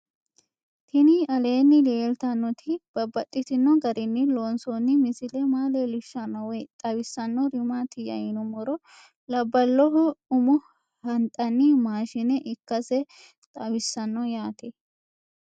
Tinni aleenni leelittannotti babaxxittinno garinni loonsoonni misile maa leelishshanno woy xawisannori maattiya yinummoro labbaloho ummo haxanni maashshine ikkasse xawissanno yaatte